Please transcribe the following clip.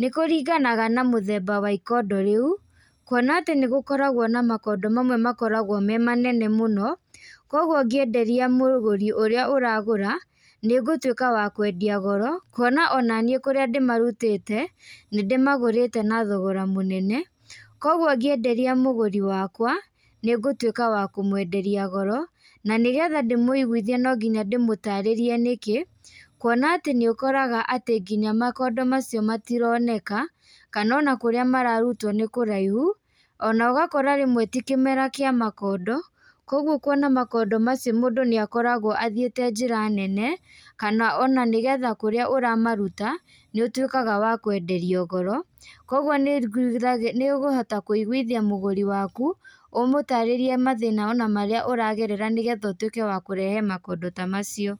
nĩkũringanaga na mũthembea wa ikondo rĩu, kuona atĩ nĩgũkoragwo na makondo mamwe makoragwo me manene mũno, koguo ũngĩenderia mũgũri ũrĩa ũragũra, nĩũgũtwĩka wa kwendia goro, kuona onaniĩ kũrĩa ndĩmarutĩte, nĩndĩmagũrĩte na thogora mũnene, koguo ngĩenderia mũgũri wakwa, nĩngũtwĩka wa kũmwenderia goro, nanĩgetha ndĩmũiguithie nonginya ndĩmũtarĩrie nĩkĩ, kuona atĩ nĩũkoraga atĩ nginya makondo macio matironeka, kanona kũrĩa mararutwo nĩ kũraihu, onogakora rĩmwe ti kĩmera kĩa makondo, koguo kuona makondo macio mũndũ nĩakoragwo athiĩte njĩra nene, kana ona nĩgetha kũrĩa ũramaruta, níútwĩkaga wa kwenderio goro, koguo nĩũkũgu nĩũkũhota kũiguĩthia mũgũri waku, ũmũtarĩrie mathĩna marĩa ũragerera nĩgetha ũtwĩke wa kũrehe makondo ta macio.